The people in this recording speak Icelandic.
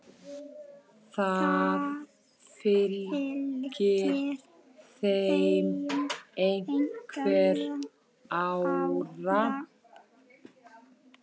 Það fylgir þeim einhver ára.